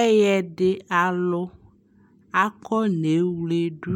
ɛyɛdi alʋ akɔnɛ wlɛdʋ